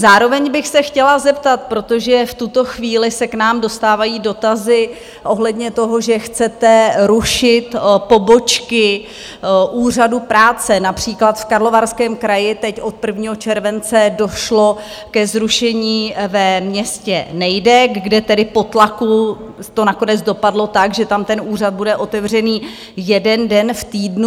Zároveň bych se chtěla zeptat - protože v tuto chvíli se k nám dostávají dotazy ohledně toho, že chcete rušit pobočky Úřadu práce, například v Karlovarském kraji teď od 1. července došlo ke zrušení ve městě Nejdek, kde tedy po tlaku to nakonec dopadlo tak, že tam ten úřad bude otevřený jeden den v týdnu.